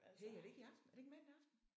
Hey er det ikke i aften? Er det ikke mandag aften?